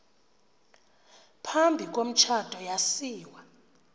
phambi komtshato yasiwa